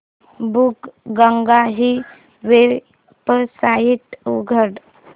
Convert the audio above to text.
बुकगंगा ही वेबसाइट उघड